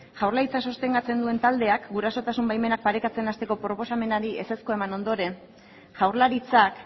jaurlaritza sostengatzen duen taldeak gurasotasun baimenak parekatzen hasteko proposamenari ezezkoa eman ondoren jaurlaritzak